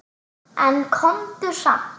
En komdu samt!